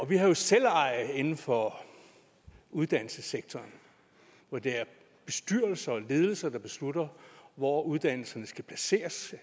vi har jo selveje inden for uddannelsessektoren hvor det er bestyrelser og ledelser der beslutter hvor uddannelserne skal placeres